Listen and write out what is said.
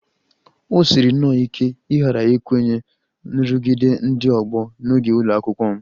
O siri nnọọ ike ịghara ikwenye nrụgide ndị ọgbọ n'oge ụlọ akwụkwọ m